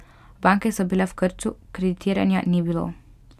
Banke so bile v krču, kreditiranja ni bilo.